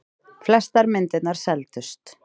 Flestar myndirnar seldust.